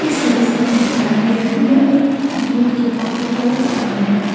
इस दृश्य में दिखाया गया है यह एक गेट के बाहर का स्थान है।